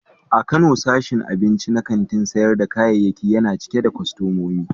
A Kano, sashin abinci na kantin sayar da kayayyaki yana cike da kwastomomi.